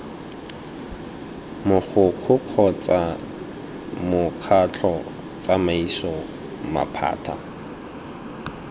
mogokgo kgotsa mokgatlho tsamaiso maphata